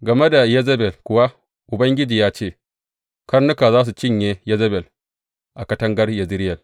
Game da Yezebel kuwa Ubangiji ya ce, Karnuka za su cinye Yezebel a katangar Yezireyel.’